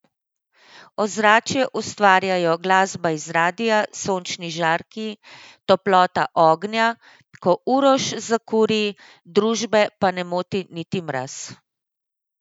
Ozračje ustvarjajo glasba iz radia, sončni žarki, toplota ognja, ko Uroš zakuri, družbe pa ne moti niti mraz.